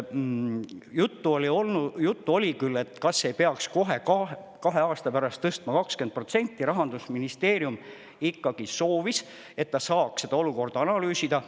Juttu oli küll sellest, kas ei peaks kohe kahe aasta pärast tõstma 20%, aga Rahandusministeerium ikkagi soovis, et ta saaks seda olukorda analüüsida.